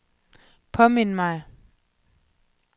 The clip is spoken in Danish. påmind mig